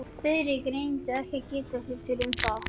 Friðrik reyndi ekki að geta sér til um það.